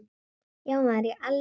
Já maður, ég elska hann.